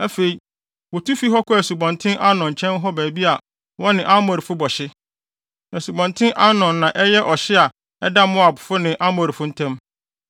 Afei, wotu fii hɔ kɔɔ Asubɔnten Arnon nkyɛn hɔ baabi a wɔne Amorifo bɔ hye. Asubɔnten Arnon na ɛyɛ ɔhye a ɛda Moabfo ne Amorifo ntam.